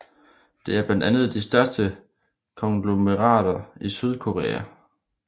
Det er blandt de største konglomerater i Sydkorea